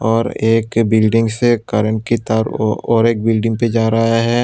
और एक बिल्डिंग से करेंट की तार ओ और एक बिल्डिंग पे जा रहा है।